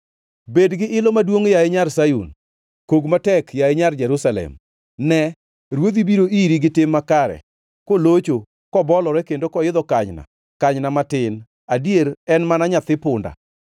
Bed gi ilo maduongʼ, yaye nyar Sayun! Kog matek, yaye Nyar Jerusalem! Ne, Ruodhi biro iri gi tim makare, kolocho, kobolore, kendo koidho kanyna, kanyna matin, adier en mana nyathi punda.